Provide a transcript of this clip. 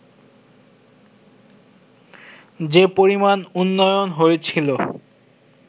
যে পরিমাণ উন্নয়ন হয়েছিল